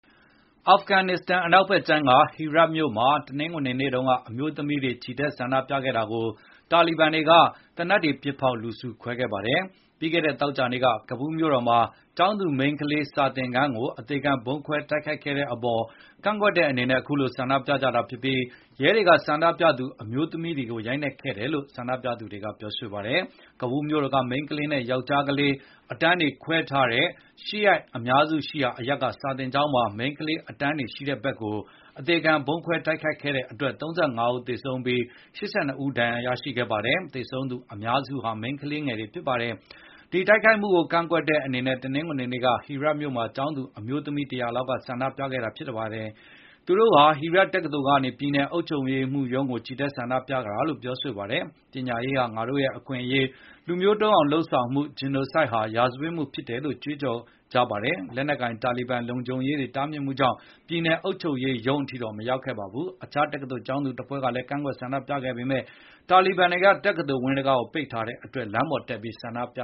အာဖဂန်နစ္စတန်နိုင်ငံ အနောက်ဖက်ခြမ်းက Herat မြို့မှာ တနင်္ဂနွေနေ့တုန်းက အမျိုးသမီးတွေ ချီတက်ဆန္ဒပြတာကို တာလီဘန်တွေက သေနတ်တွေ ပစ်ဖေါက် လူစုခွဲခဲ့ပါတယ်။ ပြီးခဲ့တဲ့ သောကြာနေ့က ကာဘူလ်း မြို့တော်မှာ ကျောင်းသူမိန်းကလေး စာသင်ခန်းကို အသေခံဗုံးခွဲ တိုက်ခိုက်ခဲ့တဲ့ အပေါ် ကန့်ကွက်တဲ့ အနေနဲ့ အခုလို ဆန္ဒပြကြာတာဖြစ်ပြီး ရဲတွေက ဆန္ဒပြသူ အမျိုးသမီးတွေကို ရိုက်နှက်ခဲ့တယ်လို့ ဆန္ဒပြသူ တွေက ပြောဆိုပါတယ်။ ကာဘူလ်း မြို့တော်က မိန်းကလေးနဲ့ ယောက်ျားလေး အတန်းတွေခွဲထားတဲ့ ရှီယာ အများစုရှိရာအရပ်က စာသင်ကျောင်းမှာ မိန်းကလေး အတန်းတွေရှိတဲ့ ဘက်ကို အသေခံဗုံးခွဲ တိုက်ခိုက်ခဲ့တဲ့အတွက် ၃၅ ဦးသေဆုံးပြီး ၈၂ ဦး ဒဏ်ရာရခဲ့ပါတယ်။ သေဆုံးသူအများစုဟာ မိန်းကလေးတွေ ဖြစ်ပါတယ်။ ဒီတိုက်ခိုက်မှုကို ကန့်ကွက်တဲ့ အနေနဲ့ တနင်္ဂနွေနေ့က Herat မြို့မှာ ကျောင်းသူ အမျိုးသမီး ၁၀၀ လောက်က ဆန္ဒပြခဲ့ တာဖြစ်ပါတယ်။ သူတို့ဟာ Herat တက္ကသိုလ်ကနေ ပြည်နယ်အုပ်ချုပ်ရေးမှူးရုံးကို ချီတက်ဆန္ဒပြကြတာလို့ ပြောဆိုခဲ့ ပါတယ်။ ပညာရေးဟာ ငါတို့အခွင့်အရေး၊ လူမျိုးတုန်းအောင် လုပ်ဆောင်မှု Genocide ဟာ ရာဇဝတ်မှု ဖြစ်တယ်လို့ ကြွေးကြော်ကြပါတယ်။ လက်နက်ကိုင် တာလီဘန်လုံခြုံရေးတွေ တားမြစ်မှုကြောင့် ပြည်နယ် အုပ်ချုပ်ရေးမှူးရုံး အထိတော့ မရောက်ခဲ့ကြပါဘူး။ အခြား တက္ကသိုလ် ကျောင်းသူတဖွဲ့ကလည်း ကန့်ကွက်ဆန္ဒပြခဲ့ပေမဲ့ တာလီဘန်တွေက တက္ကသိုလ်ဝင်း တံခါးပေါက် တွေကို ပိတ်ထားတဲ့အတွက် လမ်းတွေပေါ်တက် ဆန္ဒပြ